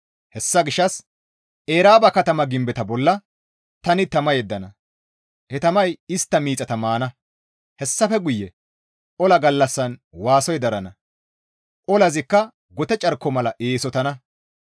Hessa gishshas Eraaba katama gimbeta bolla tani tama yeddana; he tamay istta miixata maana. Hessafe guye ola gallassan waasoy darana; olazikka gote carko mala eesotana.